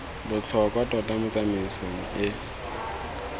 botlhokwa tota mo tsamaisong e